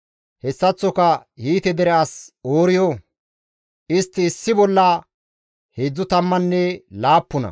Hessaththoka Hiite dere as Ooriyo, istti issi bolla heedzdzu tammanne laappuna.